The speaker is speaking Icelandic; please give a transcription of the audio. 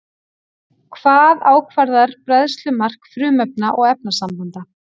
Hvað ákvarðar bræðslumark frumefna og efnasambanda?